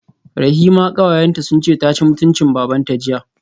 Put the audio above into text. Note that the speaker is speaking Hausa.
Rahima kawayenta sunce taci mutuncin babanta jiya